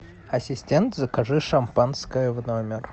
ассистент закажи шампанское в номер